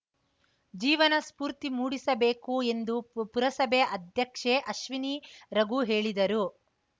ಜೀವನ ಸ್ಫೂರ್ತಿ ಮೂಡಿಸಬೇಕು ಎಂದು ಪುರಸಭೆ ಅಧ್ಯಕ್ಷೆ ಅಶ್ವಿನಿ ರಘು ಹೇಳಿದರು